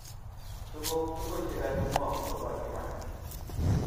Tuguk tugul chegakimwaun koba imanda